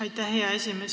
Aitäh, hea esimees!